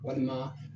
Walima